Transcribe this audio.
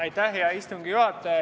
Aitäh, hea istungi juhataja!